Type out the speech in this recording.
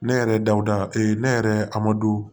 Ne yɛrɛ dawuda ee ne yɛrɛ amadu